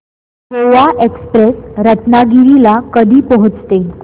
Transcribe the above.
Goa express Ratnagiri ला कधी पोहचते